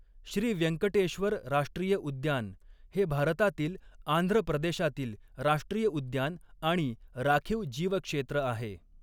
श्री व्यंकटेश्वर राष्ट्रीय उद्यान हे भारतातील आंध्र प्रदेशातील राष्ट्रीय उद्यान आणि राखीव जीवक्षेत्र आहे.